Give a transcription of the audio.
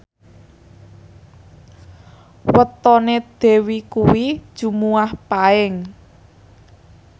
wetone Dewi kuwi Jumuwah Paing